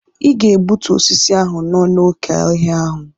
Ị ga egbutu osisi ahụ nọ n'oké ọhịa ahụ!